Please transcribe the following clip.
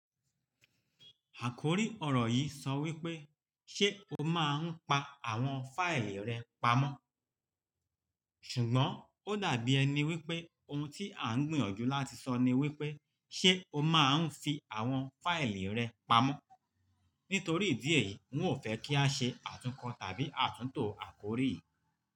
Àkórí ọ̀rọ̀ yìí sọ wípé "Ṣé o máa ń pa àwọn fáìlì rẹ pamọ́?" ṣùgbọ́n ó dàbí ẹni wípé ohun tí à ń gbìyànjú láti sọ ni wípé "Ṣé o máa ń fi àwọn fáìlì rẹ pamọ́?" nítorí idí eyìí ń ò fẹ́ kí a ṣe àtúnkọ̀ tàbí àtúntò àkórí yìí.